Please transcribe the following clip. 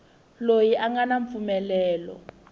loyi a nga na mpfumelelo